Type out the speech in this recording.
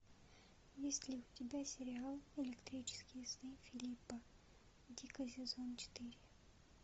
есть ли у тебя сериал электрические сны филипа дика сезон четыре